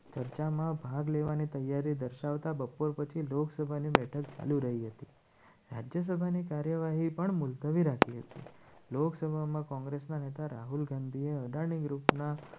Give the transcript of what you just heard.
ભાગ લેવાની તૈયારી દર્શાવતા બપોર પછી લોકસભાની બેઠક ચાલુ રહી હતી. રાજ્યસભાની કાર્યવાહી પણ મુલતવી રાખી હતી લોકસભામાં કોંગ્રેસના નેતા રાહુલ ગાંધીએ અઢારની ગ્રુપના